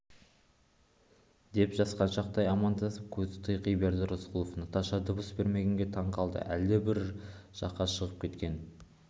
деп жасқаншақтай амандасып көзі тайқи берді рысқұлов наташа дыбыс бермегенге таң қалды әлдебір жаққа шығып кеткен